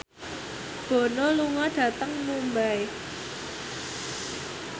Bono lunga dhateng Mumbai